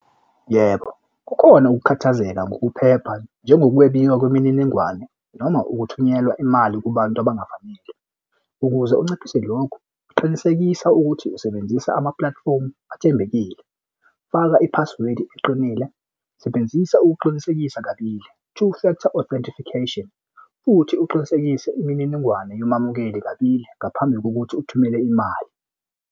Yebo, kukhona ukukhathazeka ngokuphepha njengoba ukwebiwa kwemininingwane noma ukuthunyelwa imali kubantu abangavamile. Ukuze unciphise lokhu qinisekisa ukuthi usebenzisa ama-platform athembekile. Faka i-password eqinile. sebenzisa ukuqinisekisa kabili, two factor authentification futhi uqinisekise imininingwane yomamukeli kabili ngaphambi kokuthi uthumele imali.